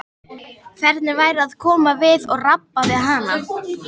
Hvernig væri að koma við og rabba við hana?